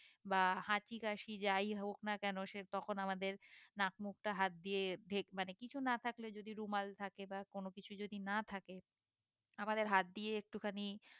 বা হাঁচি কাশি যাই হোক না কেন সে তখন আমাদের নাক মুখ টা হাত দিয়ে ঢেক মানে কিছু না থাকলে যদি রুমাল থাকে বা কোনো কিছু যদি না থাকে আমাদের হাত দিয়ে একটুখানি